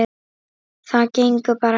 Það gengur bara ekki.